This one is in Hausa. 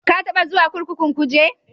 Ka taɓa zuwa kurkukun Kuje?